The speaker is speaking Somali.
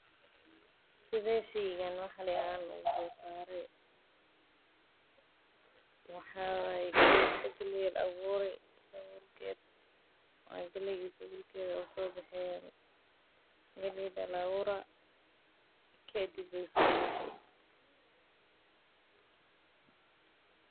Sidee sheygan wax looga soo saara waxaa waye galeey iyo sabuulkeeda.